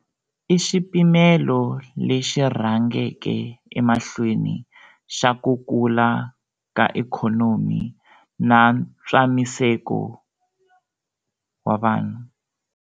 I xipimelo lexi rhangeke emahlweni xa ku kula ka ikhonomi na ntswamiseko wa vanhu.